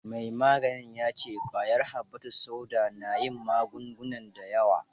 Mai maganin ya ce kwayar habbatus sauda na yin magunguna da yawa.